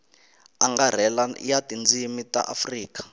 angarhela ya tindzimi ta afrika